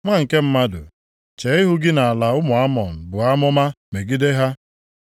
“Nwa nke mmadụ, chee ihu gị nʼala ụmụ Amọn buo amụma megide ha.